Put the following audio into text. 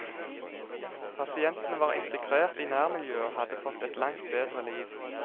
Pasientene var integrert i nærmiljøet og hadde fått et langt bedre liv.